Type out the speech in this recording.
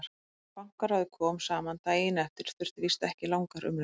Þegar Bankaráðið kom saman daginn eftir þurfti víst ekki langar umræður.